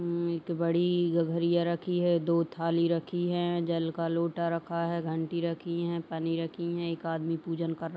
एक बड़ी गगरिया रखी है दो थाली रखी हैं जल का लोटा रखा है घंटी रखी हैं पानी रखीं हैं एक आदमी पूजन कर रहा --